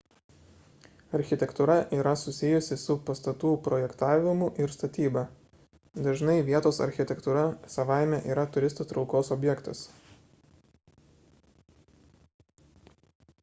architektūra yra susijusi su pastatų projektavimu ir statyba dažnai vietos architektūra savaime yra turistų traukos objektas